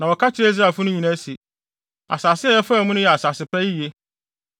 na wɔka kyerɛɛ Israelfo no nyinaa se, “Asase a yɛfaa mu no yɛ asase pa yiye.